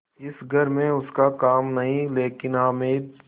इस घर में उसका काम नहीं लेकिन हामिद